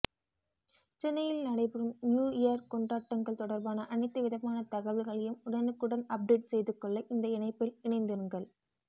சென்னையில் நடைபெறும் new year கொண்டாட்டங்கள் தொடர்பான அனைத்துவிதமான தகவல்களையும் உடனுக்குடன் அப்டேட் செய்து கொள்ள இந்த இணைப்பில் இணைந்திருங்கள்